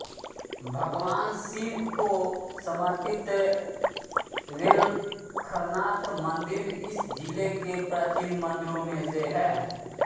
भगवान शिव को समर्पित बेलखरनाथ मंदिर इस जिले के प्राचीन मंदिरों में से है